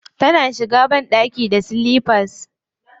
Tana shiga banɗaki da silifas.